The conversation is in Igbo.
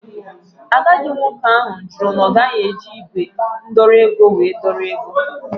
Agadi nwoke ahụ jụrụ na ogaghi eji igwe ndọrọ ego wee dọrọ ego.